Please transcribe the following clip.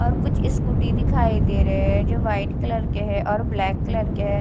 और कुछ स्कूटी दिखाई दे रहे हैं जो वाइट कलर के हैं और ब्लैक कलर के हैं।